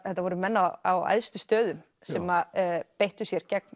þetta voru menn á æðstu stöðum sem að beittu sér gegn